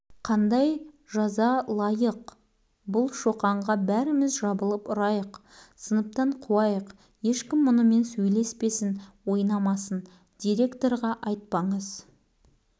әке-шешесін шақыртыңыз қазір бұрышқа тұрғызып қойыңыз балалар өстіп жаза түрін тізбектеп айтып жатыр шоқан өзін аяйтын